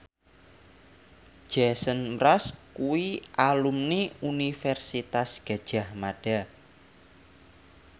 Jason Mraz kuwi alumni Universitas Gadjah Mada